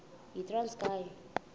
yitranskayi